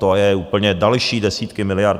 To je úplně... další desítky miliard.